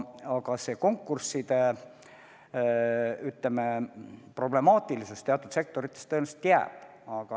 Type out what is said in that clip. Aga see konkursside problemaatilisus teatud sektorites tõenäoliselt jääb.